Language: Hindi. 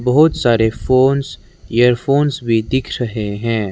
बहुत सारे फोंस इयरफोंस भी दिख रहे हैं।